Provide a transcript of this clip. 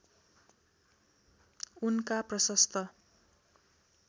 उनका प्रशस्त